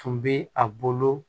Tun bɛ a bolo